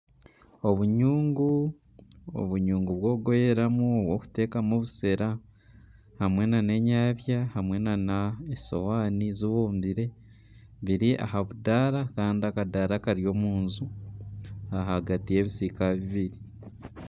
Obunyungu obunyungu bw'okugoyeramu bw'okuteekamu obushera hamwe nana enyabya hamwe nana esowaani zibumbire biri aha budaara kandi akadaara kari omu nju ahagati y'ebisiika bibiri